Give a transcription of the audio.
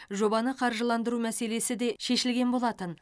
жобаны қаржыландыру мәселесі де шешілген болатын